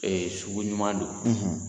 Ee sugu ɲuman don .